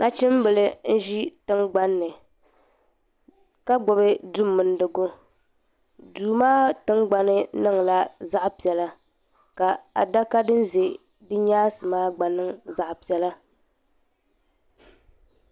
nachimbila n-ʒi tiŋgbani ni ka gbubi du' mindigu duu maa tiŋgbani niŋla zaɣ' piɛla ka adaka din ʒe di nyaansi maa gba niŋ zaɣ' piɛla.